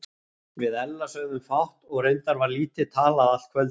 Við Ella sögðum fátt og reyndar var lítið talað allt kvöldið.